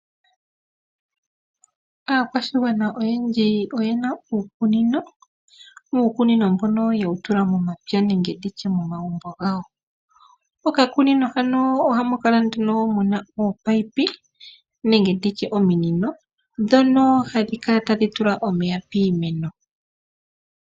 Aakwashigwana oyendji oyena uukunino, uukunino mbono ye wu tula momapya nenge nditye momagumbo gawo. Oka kunino ano ohamu kala nduno muna oopayipi, nenge nditye ominino dhono hadhi kala tadhi tula omeya piimeno.